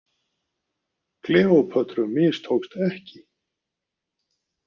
Kleópötru mistókst ekki.